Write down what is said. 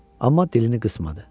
Amma dilini qısmadı.